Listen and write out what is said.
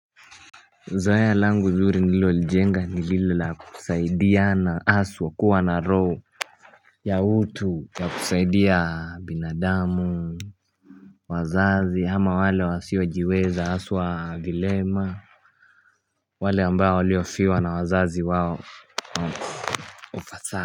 Zoea langu zuri nililolijenga nililo la kusaidia na haswa kuwa na roho ya utu ya kusaidia binadamu. Wazazi ama wale wa siwa jiweza haswa vilema. Wale ambao waliofiwa na wazazi wao Ofasa.